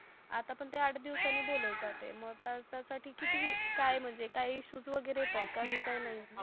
आता पण ते आठ दिवसानी बोलवतात ते मग त्याच्या साठी काही म्हणजे काही इश्यू वगेरे येत आहे का अस अकचुव्हॅली काही नाही